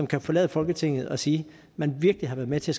kan forlade folketinget og sige at man virkelig har været med til